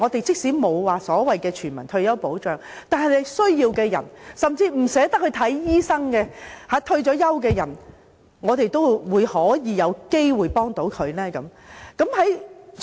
即使我們沒有全民退休保障，但對於有需要的人，甚至是不願花錢看醫生的退休人士，我們是否也應該幫助他們？